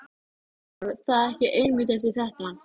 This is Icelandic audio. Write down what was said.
Hvarf það ekki einmitt eftir þetta?